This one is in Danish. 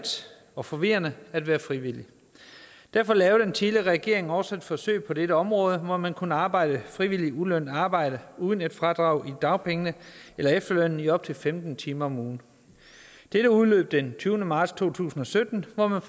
og forvirrende at være frivillig og derfor lavede den tidligere regering også et forsøg på dette område hvor man kunne arbejde frivilligt i ulønnet arbejde uden et fradrag i dagpengene eller efterlønnen i op til femten timer om ugen dette udløb den tyvende marts to tusind og sytten og man